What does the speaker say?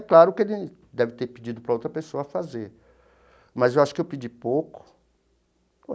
É claro que ele deve ter pedido para outra pessoa fazer, mas eu acho que eu pedi pouco.